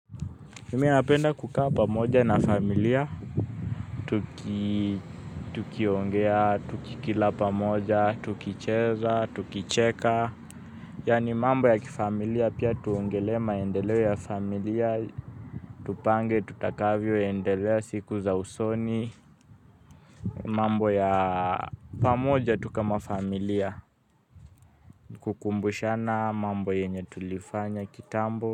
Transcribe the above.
Mimi napenda kukaa pamoja na familia, tukiongea, tukila pamoja, tukicheza, tukicheka. Yani mambo ya kifamilia pia tuongelee maendeleo ya familia, tupange tutakavyoendelea siku za usoni. Mambo ya pamoja tu kama familia, kukumbushana mambo yenye tulifanya kitambo.